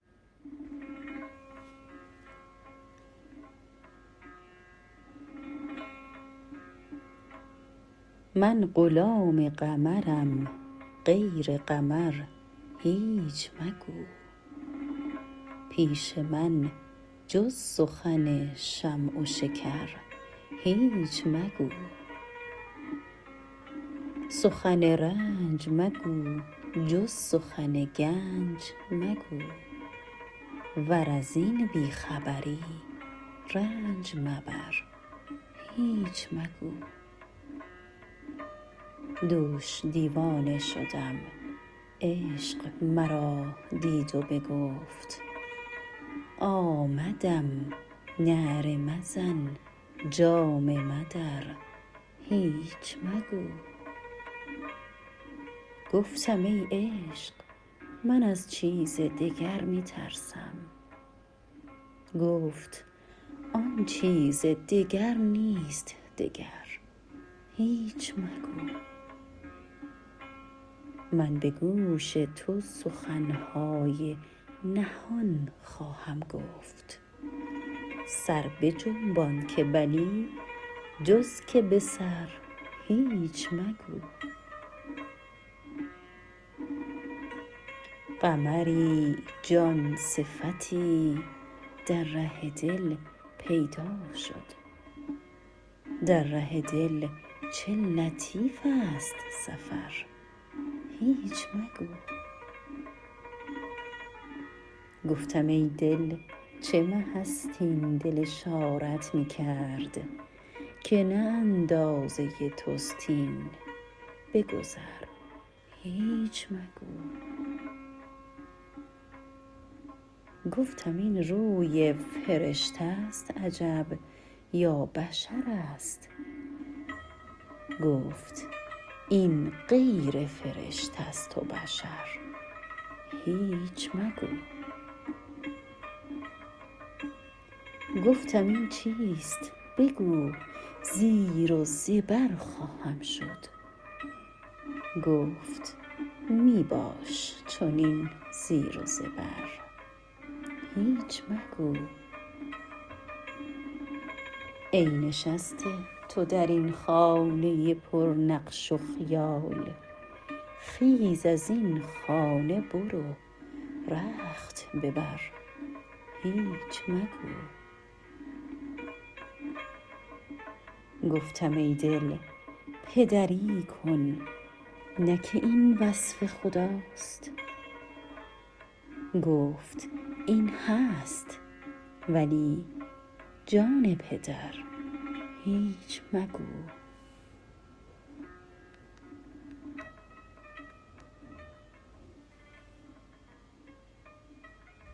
من غلام قمرم غیر قمر هیچ مگو پیش من جز سخن شمع و شکر هیچ مگو سخن رنج مگو جز سخن گنج مگو ور از این بی خبری رنج مبر هیچ مگو دوش دیوانه شدم عشق مرا دید و بگفت آمدم نعره مزن جامه مدر هیچ مگو گفتم ای عشق من از چیز دگر می ترسم گفت آن چیز دگر نیست دگر هیچ مگو من به گوش تو سخن های نهان خواهم گفت سر بجنبان که بلی جز که به سر هیچ مگو قمری جان صفتی در ره دل پیدا شد در ره دل چه لطیف ست سفر هیچ مگو گفتم ای دل چه مه ست این دل اشارت می کرد که نه اندازه توست این بگذر هیچ مگو گفتم این روی فرشته ست عجب یا بشرست گفت این غیر فرشته ست و بشر هیچ مگو گفتم این چیست بگو زیر و زبر خواهم شد گفت می باش چنین زیر و زبر هیچ مگو ای نشسته تو در این خانه پرنقش و خیال خیز از این خانه برو رخت ببر هیچ مگو گفتم ای دل پدری کن نه که این وصف خداست گفت این هست ولی جان پدر هیچ مگو